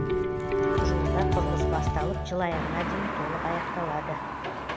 жуырда құрылыс басталып жыл аяғына дейін толық аяқталады